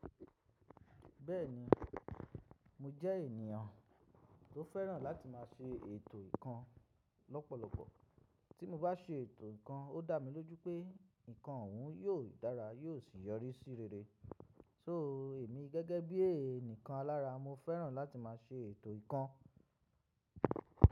Bẹ́ẹ̀ni, mo jẹ́ ènìyàn tó fẹ́ràn láti má ṣe ètò ǹkan lọ́pọ̀lọpọ̀. Tí mo bá ṣe ètò ǹkan, ó dá mi lójú pé ǹkan òun yóò dára yóò sì yọrí sí rere. So èmi gẹ́gẹ́ bí ẹnìkan alára mo fẹ́ràn láti má ṣe ètò ǹkan.